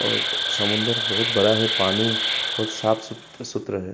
और समुन्दर बहोत बड़ा है। पानी बहोत साफ़ सूत सुत्र है।